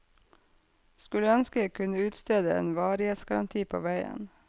Skulle ønske jeg kunne utstede en varighetsgaranti på veien.